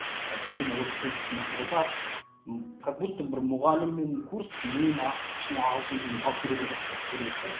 мені осы курс мықты қылтады как будто бір мұғалім мен курс миын ашып ішіне ағылшын тілін салып беретін сияқты болып көрінеді де